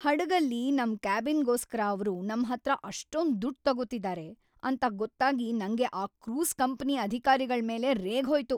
ಹಡಗಲ್ಲಿ ನಮ್ ಕ್ಯಾಬಿನ್‌ಗೋಸ್ಕರ ಅವ್ರು ನಮ್ಹತ್ರ ಅಷ್ಟೊಂದ್‌ ದುಡ್ಡ್‌ ತಗೊತಿದಾರೆ ಅಂತ ಗೊತ್ತಾಗಿ ನಂಗೆ ಆ ಕ್ರೂಸ್ ಕಂಪನಿ ಅಧಿಕಾರಿಗಳ್ಮೇಲೆ ರೇಗ್ಹೋಯ್ತು.